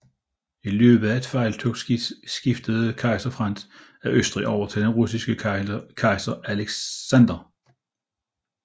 I løbet af felttoget skiftede kejser Frans af Østrig over til den russiske kejser Alexander